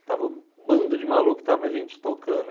Estava um bando de maluco e estava a gente tocando.